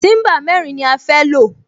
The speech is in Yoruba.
Tíḿbà mẹ́rin ni a fẹ́ lò